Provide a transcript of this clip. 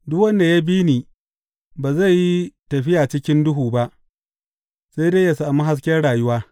Duk wanda ya bi ni ba zai yi tafiya cikin duhu ba, sai dai yă sami hasken rayuwa.